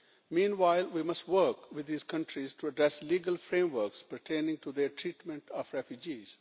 Meanwhile, we must work with these countries to address legal frameworks pertaining to their treatment of refugees.